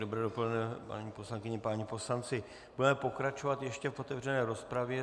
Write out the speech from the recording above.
Dobré dopoledne, paní poslankyně, páni poslanci, budeme pokračovat ještě v otevřené rozpravě.